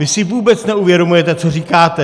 Vy si vůbec neuvědomujete, co říkáte!